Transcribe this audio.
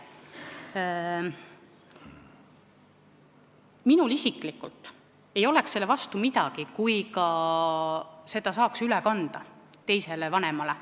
Minul isiklikult ei oleks midagi selle vastu, kui seda saaks üle kanda teisele vanemale.